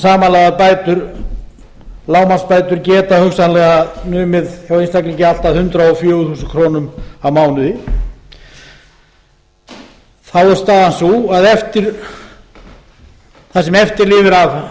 samanlagðar lágmarksbætur geta hugsanlega numið hjá einstaklingi allt að hundrað og fjögur þúsund krónur á mánuði þá er staðan sú að það sem eftir lifir af